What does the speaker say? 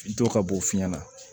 Dɔ ka b'o fiɲɛna